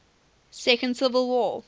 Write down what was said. second civil war